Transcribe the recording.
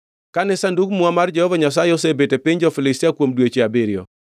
Kane Sandug Muma mar Jehova Nyasaye osebet e piny jo-Filistia kuom dweche abiriyo,